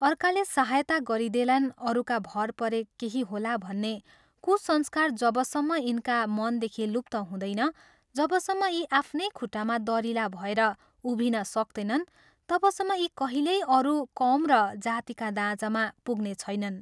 अर्काले सहायता गरिदेलान् अरूका भर परे केही होला भन्ने कुसंस्कार जबसम्म यिनका मनदेखि लुप्त हुँदैन, जबसम्म यी आफ्नै खुट्टामा दरिला भएर उभिन सक्तैनन्, तबसम्म यी कहिल्यै अरू कौम र जातिका दाँजामा पुग्ने छैनन्।